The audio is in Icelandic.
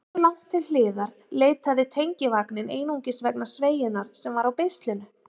Hversu langt til hliðar leitaði tengivagninn einungis vegna sveigjunnar sem var á beislinu?